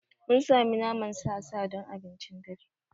Mun sami naman sa sa don abincin dare.